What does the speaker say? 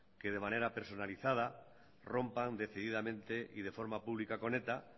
que de manera personalizada rompan decididamente y de forma pública con eta